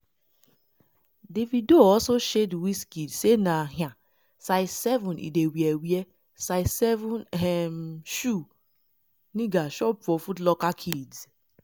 davido also shade wizkid say na um size 7 e dey wear " wear " size 7 um shoe 😂 nigga shop for footlocker kids."